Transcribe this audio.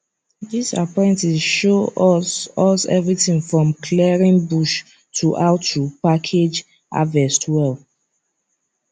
this apprentice show us us everything from clearing bush to how to package harvest well